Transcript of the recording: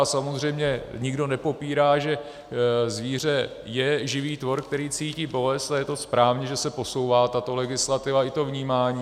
A samozřejmě nikdo nepopírá, že zvíře je živý tvor, který cítí bolest, a je to správně, že se posouvá tato legislativa i to vnímání.